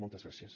moltes gràcies